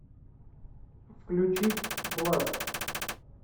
включить бласт